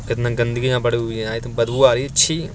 कितना गंदगी यहाँ बड़ी हुई है| बदबू आ रही है छी |